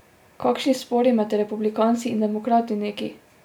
Kakšni spori med republikanci in demokrati neki!